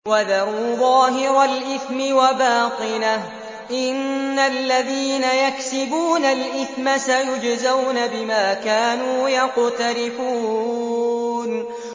وَذَرُوا ظَاهِرَ الْإِثْمِ وَبَاطِنَهُ ۚ إِنَّ الَّذِينَ يَكْسِبُونَ الْإِثْمَ سَيُجْزَوْنَ بِمَا كَانُوا يَقْتَرِفُونَ